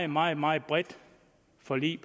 meget meget bredt forlig